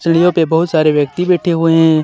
सीढ़ियों पे बहुत सारे व्यक्ति बैठे हुए हैं